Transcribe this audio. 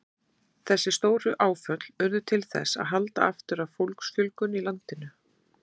Þessi stóru áföll urðu til þess að halda aftur af fólksfjölgun í landinu.